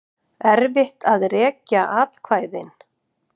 Erfitt að rekja atkvæðin